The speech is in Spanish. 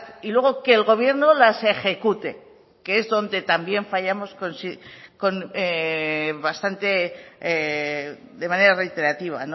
y luego que el gobierno las ejecute que es donde también fallamos bastante de manera reiterativa